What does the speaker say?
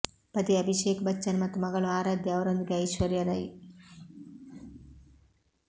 ಪತಿ ಅಭಿಷೇಕ್ ಬಚ್ಚನ್ ಮತ್ತು ಮಗಳು ಆರಾಧ್ಯ ಅವರೊಂದಿಗೆ ಐಶ್ವರ್ಯಾ ರೈ